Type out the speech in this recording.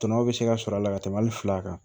Tɔnɔ bɛ se ka sɔrɔ a la ka tɛmɛ hali fila kan